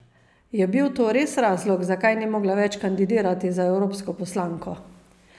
Je bil to res razlog, zakaj ni mogla več kandidirati za evropsko poslanko?